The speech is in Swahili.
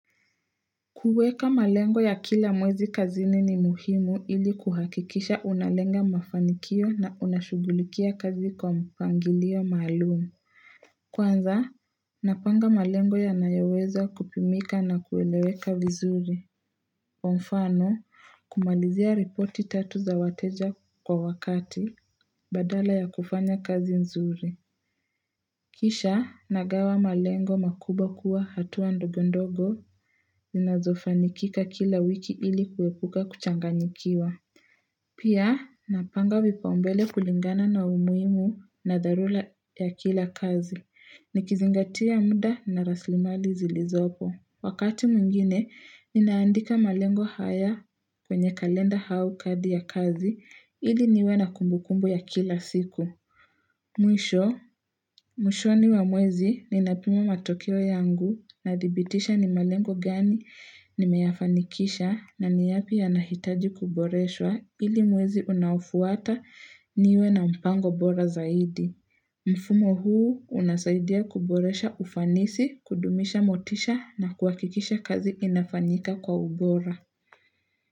Kuweka malengo ya kila mwezi kazini ni muhimu ili kuhakikisha unalenga mafanikio na unashughulikia kazi kwa mpangilio maalumu. Kwanza, napanga malengo yanayoweza kupimika na kueleweka vizuri. Kwa mfano, kumalizia ripoti tatu za wateja kwa wakati, badala ya kufanya kazi nzuri. Kisha, nagawa malengo makubwa kuwa hatua ndogondogo, zinazofanikika kila wiki ili kuepuka kuchanganyikiwa. Pia, napanga vipaumbele kulingana na umuhimu na dharura ya kila kazi. Nikizingatia muda na rasilimali zilizopo. Wakati mwingine, ninaandika malengo haya kwenye kalenda au kadi ya kazi, ili niwe na kumbukumbu ya kila siku. Mwisho, mwishoni wa mwezi ninapima matokeo yangu na dhibitisha ni malengo gani nimeyafanikisha na ni yapi yanahitaji kuboreshwa ili mwezi unaofuata niwe na mpango bora zaidi. Mfumo huu unasaidia kuboresha ufanisi, kudumisha motisha na kuhakikisha kazi inafanyika kwa ubora.